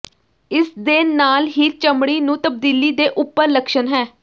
ਇਸ ਦੇ ਨਾਲ ਹੀ ਚਮੜੀ ਨੂੰ ਤਬਦੀਲੀ ਦੇ ਉਪਰ ਲੱਛਣ ਹੈ